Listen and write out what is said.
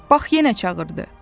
Bax yenə çağırdı.